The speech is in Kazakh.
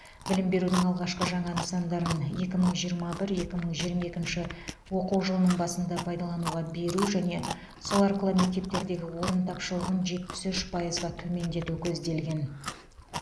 білім берудің алғашқы жаңа нысандарын екі мың жиырма бір екі мың жиырма екінші оқу жылының басында пайдалануға беру және сол арқылы мектептердегі орын тапшылығын жетпіс пайызға төмендету көзделген